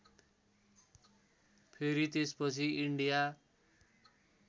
फेरि त्यसपछि इन्डिया